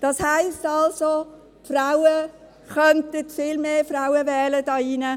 Das heisst also, dass die Frauen viel mehr Frauen in diesen Rat wählen könnten.